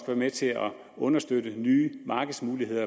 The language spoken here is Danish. være med til understøtte nye markedsmuligheder